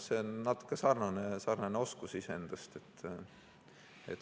See on natuke sarnane oskus.